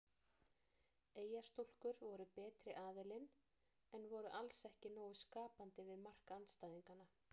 Eyjastúlkur voru betri aðilinn en voru alls ekki nógu skapandi við mark andstæðinganna.